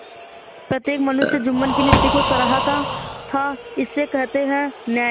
प्रत्येक मनुष्य जुम्मन की नीति को सराहता थाइसे कहते हैं न्याय